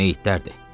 Meyitlərdi.